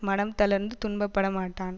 மனம் தளர்ந்து துன்பப்படமாட்டான்